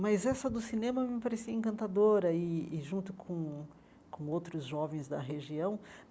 Mas essa do cinema me parecia encantadora, e e junto com com outros jovens da região.